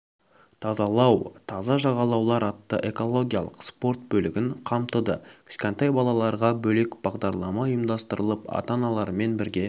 тазалау таза жағалаулар атты экологиялық спорт бөлігін қамтыды кішкентай балаларға бөлек бағдарлама ұйымдастырылып ата-аналарымен бірге